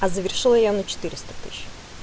а завершила я на четыреста тысяч